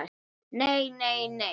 NEI, NEI, NEI.